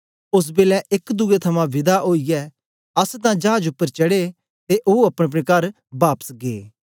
ओस बेलै एक दुए थमां विदा ओईयै अस तां चाज उपर चढ़े ते ओ अपनेअपने कर बापस गै